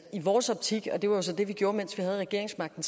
i vores optik og det var så det vi gjorde mens vi havde regeringsmagten